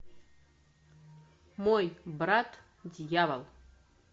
мой брат дьявол